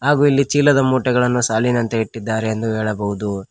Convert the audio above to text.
ಹಾಗು ಇಲ್ಲಿ ಚೀಲದ ಮೂಟೆಗಳನ್ನು ಸಾಲಿನಂತೆ ಇಟ್ಟಿದ್ದಾರೆ ಎಂದು ಹೇಳಬಹುದು.